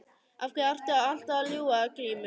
Af hverju ertu alltaf að ljúga Grímur?